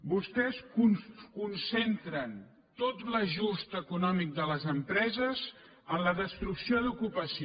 vostès concentren tot l’ajust econòmic de les empreses en la destrucció d’ocupació